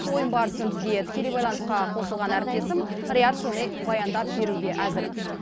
ойын барысын бізге тікелей байланысқа қосылған әріптесім риат шони баяндап беруге әзір